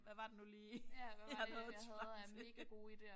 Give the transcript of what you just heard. Hvad var det nu lige jeg nåede et svar til